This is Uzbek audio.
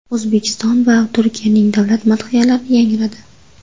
O‘zbekiston va Turkiyaning davlat madhiyalari yangradi.